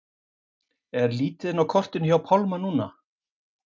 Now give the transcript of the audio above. Er lítið inn á kortinu hjá Pálma núna?